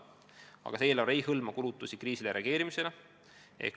Samas ei hõlma see eelarve kulutusi kriisile reageerimiseks.